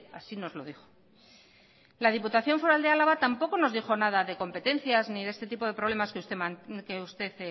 así nos lo dijo la diputación foral de álava tampoco nos dijo nada de competencias ni de este tipo de problemas que usted